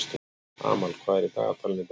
Amal, hvað er í dagatalinu í dag?